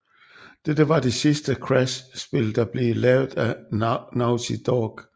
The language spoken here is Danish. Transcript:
Dette var det sidste Crash spil der blev lavet af Naughty Dog